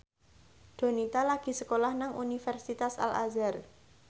Donita lagi sekolah nang Universitas Al Azhar